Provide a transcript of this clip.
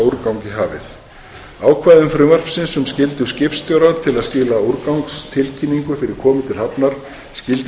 úrgang í hafið ákvæðum frumvarpsins um skyldu skipstjóra til að skila úrgangstilkynningu fyrir komu til hafnar skyldu til